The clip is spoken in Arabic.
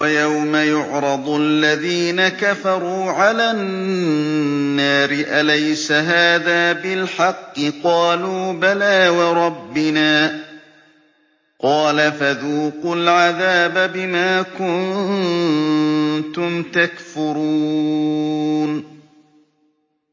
وَيَوْمَ يُعْرَضُ الَّذِينَ كَفَرُوا عَلَى النَّارِ أَلَيْسَ هَٰذَا بِالْحَقِّ ۖ قَالُوا بَلَىٰ وَرَبِّنَا ۚ قَالَ فَذُوقُوا الْعَذَابَ بِمَا كُنتُمْ تَكْفُرُونَ